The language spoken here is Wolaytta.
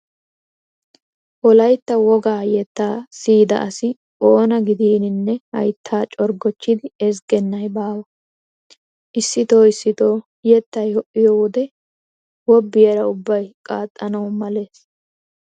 Wolaytta wogaa yettaa siyida asi oona gidiininne hayttaa corggochchidi ezggennay baawa. Issitoo issitoo yettay ho"iyo wode wobbiyara ubba qanxxanawu malees.